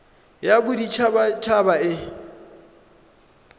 ya bodit habat haba e